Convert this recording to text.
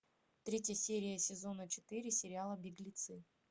третья серия сезона четыре сериала беглецы